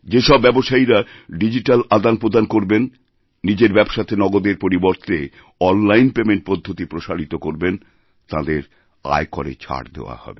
যে সব ব্যবসায়ীরা ডিজিট্যালআদানপ্রদান করবেন নিজের ব্যবসাতে নগদের পরিবর্তে অনলাইন পেমেন্ট পদ্ধতি প্রসারিতকরবেন তাঁদের আয়করে ছাড় দেওয়া হবে